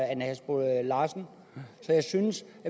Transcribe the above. ane halsboe larsen jeg synes